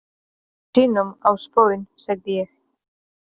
Stöku sinnum á spón, sagði ég.